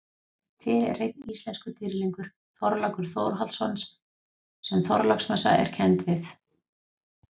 Til er einn íslenskur dýrlingur, Þorlákur Þórhallsson sem Þorláksmessa er kennd við.